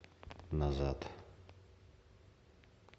назад